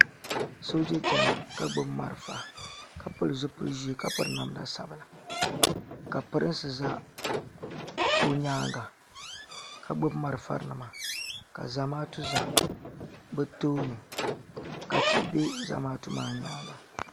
soja chɛna ka gbabi mariƒɔ ka pɛli zibili ʒiɛ ka pɛri namda sabila ka pɛri o nyɛŋa ka gbabi mariƒɔ nima ka zatu za be tuuni ka tihi bɛ zamaatu maa nyɛŋa